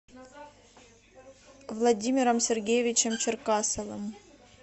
владимиром сергеевичем черкасовым